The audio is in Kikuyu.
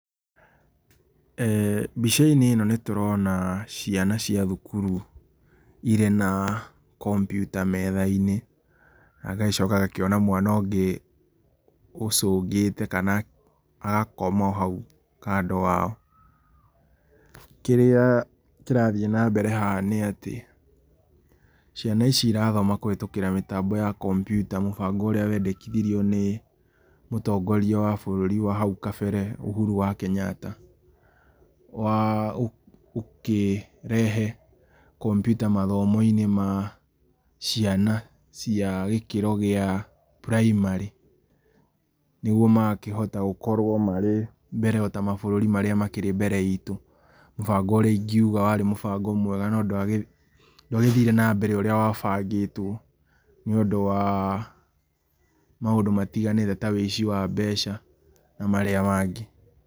eeh Mbica-inĩ ĩno nĩ tũrona ciana cia thukuru irĩ na kompiuta metha-inĩ, nangagĩcoka ngakĩona mwana ũngĩ ũcũngĩte kana agakoma o hau kando wao, kĩrĩa kĩrathiĩ na mbere haha nĩ atĩ, ciana ici irathoma kũhetũkĩra mĩtambo ya kompiuta, mũbango ũrĩa wandekithirio nĩ mũtongoria wa bũrũri wa hau kambere, Uhuru wa Kenyatta wa, ũkĩrehe kompiuta mathomo-inĩ ma ciana cia gĩkĩro kĩa primary, nĩguo magakĩhota gũkorwo marĩ mbere ota mabũrũri marĩa makĩrĩ mbere itũ, mũbango ũrĩa ingĩuga warĩ mũbango mwega, no ndwagĩthire na mbere ũrĩa wabangĩtwo, nĩ ũndũ wa maũndũ matiganĩte ta wĩici wa mbeca na marĩa mangĩ.